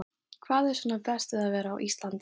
Jón: Hvað er svona best við að vera á Íslandi?